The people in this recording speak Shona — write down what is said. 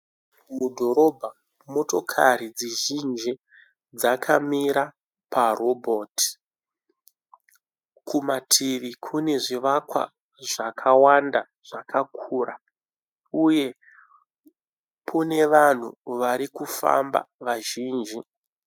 Mudhorobha motokari dzizhinji dzakamira parobot, kumativi kune zvivakwa zvakawanda zvakakura uye kune vanhu varikufamba vazhinji.